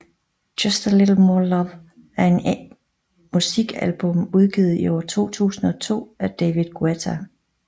Just a Little More Love er er musikalbum udgivet i år 2002 af David Guetta